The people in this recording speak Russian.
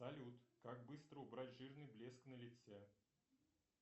салют как быстро убрать жирный блеск на лице